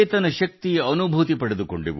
ಸಾಕ್ಷಾತ್ಕಾರದ ಪ್ರಜ್ಞೆ ಬಂದಿದೆ